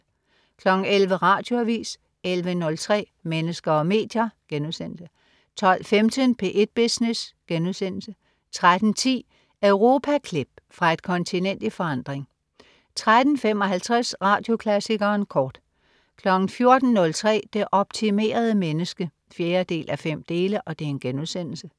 11.00 Radioavis 11.03 Mennesker og medier* 12.15 P1 Business* 13.10 Europaklip. Fra et kontinent i forandring 13.55 Radioklassikeren kort 14.03 Det optimerede menneske 4:5*